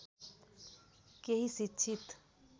केही शिक्षित